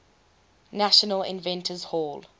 national inventors hall